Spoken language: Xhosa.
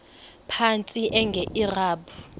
phantsi enge lrabi